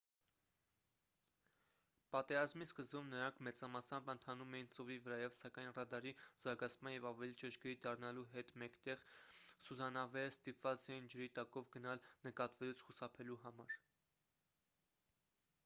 պատերազմի սկզբում նրանք մեծամասամբ ընթանում էին ծովի վրայով սակայն ռադարի զարգացման և ավելի ճշգրիտ դառնալու հետ մեկտեղ սուզանավերը ստիպված էին ջրի տակով գնալ նկատվելուց խուսափելու համար